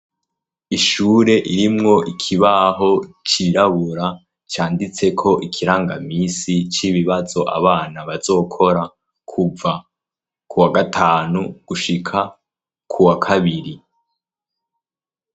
Ishure irimwo ikibaho cirabura canditse ko ikirangamisi c'ibibazo abana bazokora kuva ku wa gatanu gushika ku wa kabiri.